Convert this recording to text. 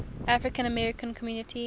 african american community